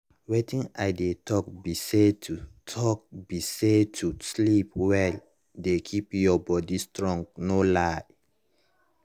wetin i dey talk be sayto talk be sayto sleep well dey keep your body strong no lie